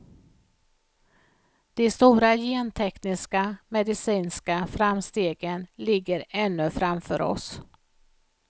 De stora gentekniska medicinska framstegen ligger ännu framför oss.